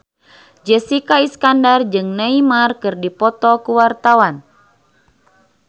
Jessica Iskandar jeung Neymar keur dipoto ku wartawan